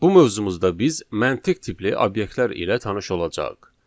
Bu mövzumuzda biz məntiq tipli obyektlər ilə tanış olacağıq.